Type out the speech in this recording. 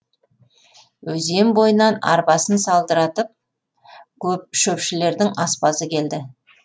өзен бойынан арбасын салдыратып шөпшілердің аспазы келді